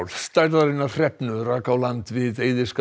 stærðarinnar hrefnu rak á land við